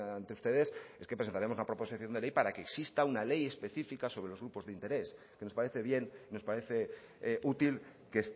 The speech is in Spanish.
ante ustedes es que presentaremos una proposición de ley para que exista una ley específica sobre los grupos de interés que nos parece bien nos parece útil que